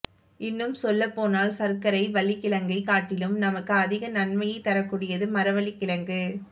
இன்னும் சொல்லப் போனால் சர்க்கரை வள்ளிக்கிழங்கைக் காட்டிலும் நமக்கு அதிகம் நன்மைகளைத் தரக்கூடியது மரவள்ளிக்கிழங்கு